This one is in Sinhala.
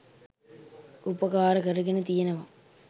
උපකාර කරගෙන තියෙනවා.